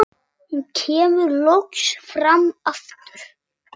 Hún kemur loks fram aftur.